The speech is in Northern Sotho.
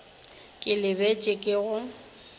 ke le bitše ke go